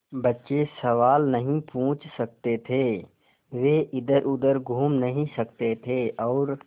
बच्चे सवाल नहीं पूछ सकते थे वे इधरउधर घूम नहीं सकते थे और